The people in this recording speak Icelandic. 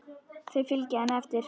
Þau fylgja henni eftir.